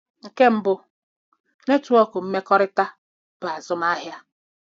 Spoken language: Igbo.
Nke mbụ, netwọk mmekọrịta bụ azụmahịa.